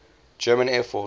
german air force